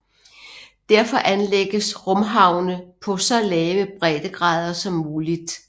Derfor anlægges rumhavne på så lave breddegrader som muligt